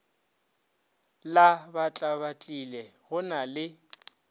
la batlabatlile go na le